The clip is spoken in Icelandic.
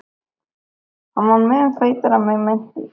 Hann var mun feitari en mig minnti.